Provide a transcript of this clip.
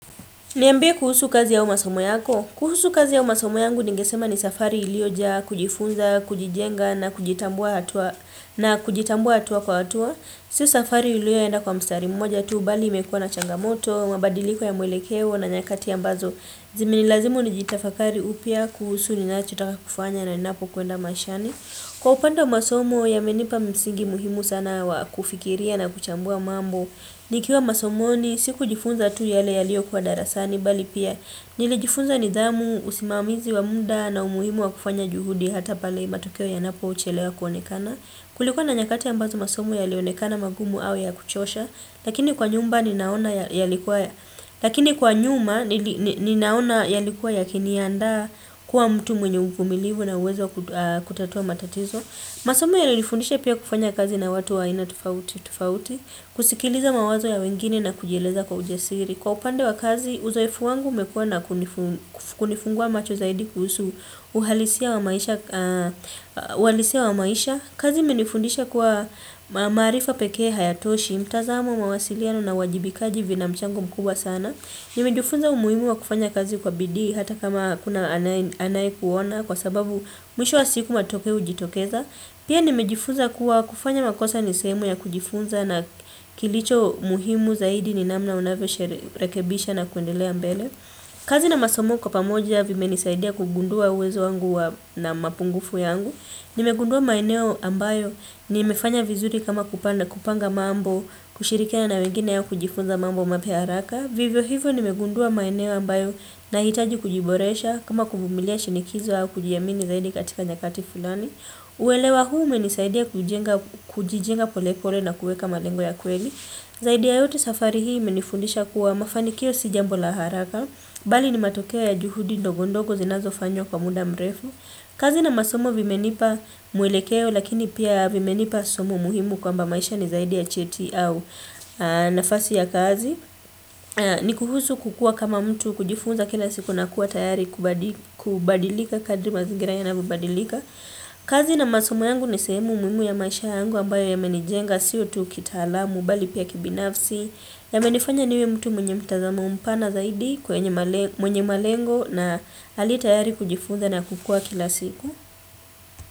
Niambie kuhusu kazi au masomo yako. Kuhusu kazi au masomo yangu ningesema ni safari ilioja, kujifunza, kujijenga na kujitambua hatua kwa hatua. Si safari iliyoenda kwa mstari mmoja tu, bali imekuwa na changamoto, mabadiliko ya mwelekewo na nyakati ambazo. Zimenilazimu ni jitafakari upya kuhusu ni nachotaka kufanya na ninapo kwenda mashani. Kwa upande wa masomo yamenipa msingi muhimu sana wakufikiria na kuchambua mambo. Nikiwa masomoni, siku jifunza tu yale yalio kuwa darasani, bali pia nilijifunza nidhamu, usimamizi wa mda na umuhimu wa kufanya juhudi hata pale matokeo yanapo chelewa kuonekana. Kulikua na nyakati ambazo masomo yalionekana magumu au ya kuchosha, lakini kwa nyuma ninaona yalikuwa yakiniandaa kuwa mtu mwenye uvumilivu na uwezo kutatua matatizo. Masomo yalinifundisha pia kufanya kazi na watu wa aina tofauti tofauti kusikiliza mawazo ya wengine na kujieleza kwa ujasiri. Kwa upande wa kazi, uzoefu wangu umekua na kunifungua macho zaidi kuhusu uhalisia wa maisha. Kazi imenifundisha kuwa maarifa pekee hayatoshi mtazamo nawasiliano na uwajibikaji vina mchango mkubwa sana. Nimejifunza umuhimu wa kufanya kazi kwa bidii hata kama hakuna anaye kuona kwa sababu mwisho wa siku matokeo hujitokeza. Pia nimejifunza kuwa kufanya makosa nisehemu ya kujifunza na kilicho muhimu zaidi ni namna unavyoshe rekebisha na kuendelea mbele. Kazi na masomo kwa pamoja vimenisaidia kugundua uwezo wangu na mapungufu yangu. Nimegundua maeneo ambayo nimefanya vizuri kama kupanga mambo kushirikiana wengine au kujifunza mambo mapi haraka. Vivyo hivyo nimegundua maeneo ambayo na hitaji kujiboresha kama kuvumilia shinikizo au kujiamini zaidi katika nyakati fulani. Uelewa huu umenisaidia kujijenga polepole na kueka malengo ya kweli. Zaidi ya yote safari hii imenifundisha kuwa mafanikio si jambo laharaka. Bali ni matokeo ya juhudi ndogondogo zinazo fanyo kwa muda mrefu. Kazi na masomo vimenipa mwelekeo lakini pia vimenipa somo muhimu kwamba maisha ni zaidi ya cheti au nafasi ya kazi. Nikuhusu kukua kama mtu, kujifunza kila siku na kuwa tayari kubadilika kadri mazingira yanavyo badilika. Kazi na masomo yangu nisehemu muhimu ya maisha yangu ambayo yamenijenga sio tu kitaalamu bali pia kibinafsi. Ya menifanya niwe mtu mwenye mtazamo mpana zaidi kwenye mwenye malengo na aliyetayari kujifunza na kukua kila siku.